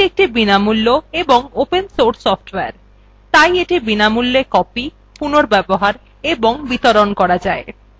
এটি একটি বিনামূল্য of open source সফ্টওয়্যার তাই এটি বিনামূল্যে copied পুনর্ব্যবহার এবং বিতরণ করা যায়